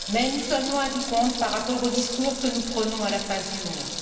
Nous sommes cependant loin du compte par rapport au discours que nous prônons à la face du monde.